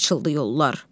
Açıldı yollar.